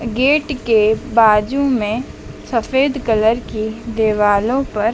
gate के बाजू में सफेद कलर की दिवालों पर --